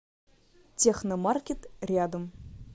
техномаркет рядом